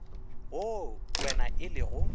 wo kwena e le go